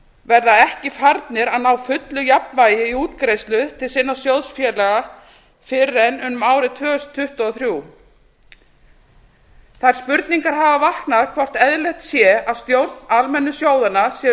verða ekki farnir að ná fullu jafnvægi í útgreiðslu til sinna sjóðfélaga fyrr en um árið tvö þúsund tuttugu og þrjár þær spurningar hafa vaknað hvort eðlilegt sé að stjórnir almennu sjóðanna séu